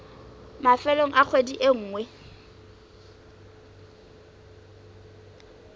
mafelong a kgwedi e nngwe